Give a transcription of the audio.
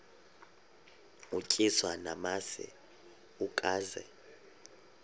utyiswa namasi ukaze